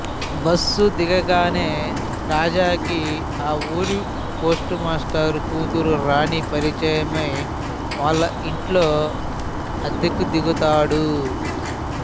bus దిగగానే రాజాకి ఆ ఊరి పోస్టు మాస్టరు కూతురు రాణి పరిచయమై వాళ్ళ ఇంట్లో అద్దెకు దిగుతాడు